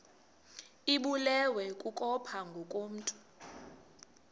ibulewe kukopha ngokomntu